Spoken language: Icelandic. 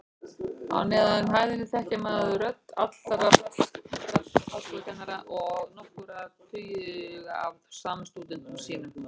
Á neðri hæðinni þekkti maður rödd allra fastra háskólakennara og nokkurra tuga af samstúdentum sínum.